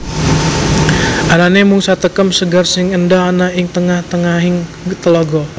Anane mung satekem sekar sing endah ana ing tengah tengahing telaga